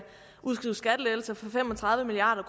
udskrives skattelettelser for fem og tredive milliard